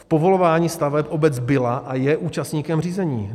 V povolování staveb obec byla a je účastníkem řízení.